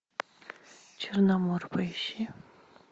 черномор поищи